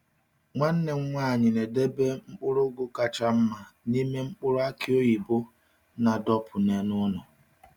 Nwanne m nwanyị na-edobe mkpụrụ ugu kacha mma n’ime mkpụrụ aki oyibo a dọpụ n’elu ụlọ.